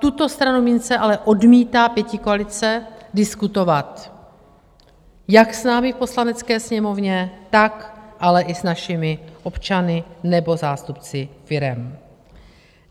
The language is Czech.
Tuto stranu mince ale odmítá pětikoalice diskutovat, jak s námi v Poslanecké sněmovně, tak ale i s našimi občany nebo zástupci firem.